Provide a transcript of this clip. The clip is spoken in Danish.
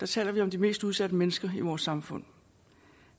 taler vi om de mest udsatte mennesker i vores samfund